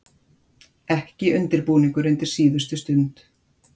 Ekki undirbúningur undir síðustu stund.